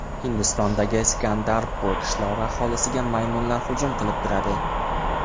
Hindistondagi Sikandarpur qishlog‘i aholisiga maymunlar hujum qilib turadi.